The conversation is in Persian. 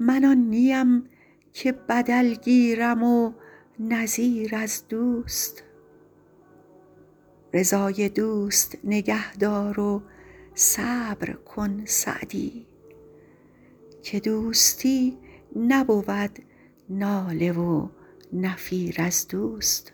من آن نیم که بدل گیرم و نظیر از دوست رضای دوست نگه دار و صبر کن سعدی که دوستی نبود ناله و نفیر از دوست